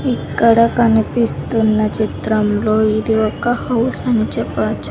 ఇక్కడ కనిపిస్తున్న చిత్రంలో ఇది ఒక హౌస్ అని చెప్పచ్చు.